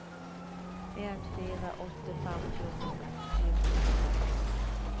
en fire åtte fem fjorten sju hundre og seks